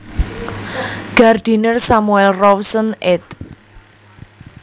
Gardiner Samuel Rawson ed